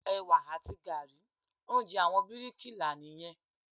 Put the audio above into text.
Ẹ̀wà àti gààrí, oúnjẹ àwọn bíríkì là nìyẹn.